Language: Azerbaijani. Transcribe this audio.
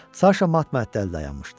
Saşa mat-məəttəl dayanmışdı.